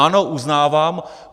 Ano, uznávám.